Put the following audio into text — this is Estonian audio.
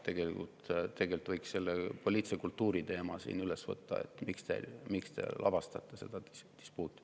Tegelikult võiks selle poliitilise kultuuri teema siin üles võtta, et miks te lavastate seda dispuuti.